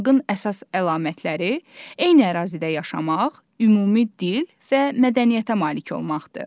Xalqın əsas əlamətləri eyni ərazidə yaşamaq, ümumi dil və mədəniyyətə malik olmaqdır.